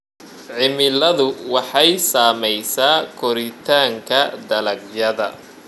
Cimiladu waxay saamaysaa koritaanka dalagyada.